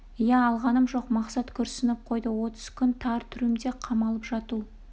иә алғаным жоқ мақсат күрсініп қойды отыз күн тар трюмде қамалып жату